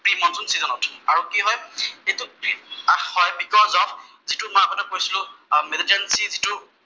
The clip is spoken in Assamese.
প্ৰি মনচুন চিজনত। আৰু কি হয় যিটো প্ৰি সদ্যজাত, যিটো মই আগতে কৈছিলো যিটো